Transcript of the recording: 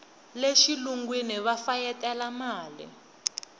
le xilungwini va fayetela mali